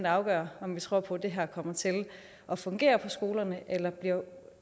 afgør om vi tror på at det her kommer til at fungere på skolerne eller bliver